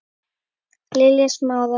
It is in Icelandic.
Lilja Smára.